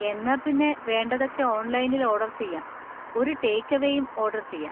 എന്നാ പിന്നെ വേണ്ടതൊക്കെ ഓൺലൈനിൽ ഓർഡർ ചെയ്യാ, ഒരു ടേക്ക് എവേയും ഓർഡർ ചെയ്യാ.